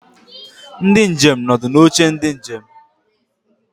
Ndi njem nọ ọdụ n'oche ndị njem.